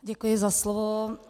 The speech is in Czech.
Děkuji za slovo.